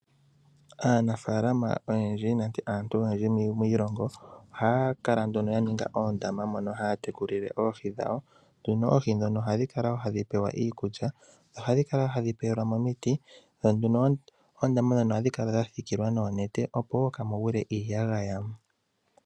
Aanafalama oyendji nenge aantu oyendji miilongo ohaya kala nduno yaninga oondama mono haya tekulile oohi dhawo. Nduno oohi ndhono ohadhi kala wo hadhi pewa iikulya, dho ohadhi kala wo hadhi pewelwa mo omiti , dho nduno oondama ndhono ohadhi kala dhasikilwa noonete, opo wo kaamu gwile iiyagaya.